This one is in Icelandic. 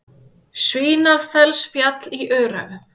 Svínafellsfjall í Öræfum.